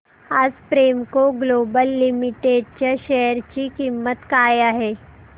आज Premco Global Limited च्या share ची किंमत काय आहे